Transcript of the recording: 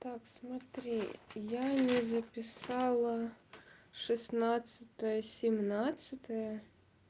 так смотри я не записала шестнадцатое семнадцатое